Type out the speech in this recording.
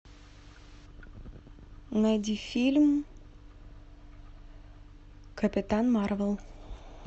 найди фильм капитан марвел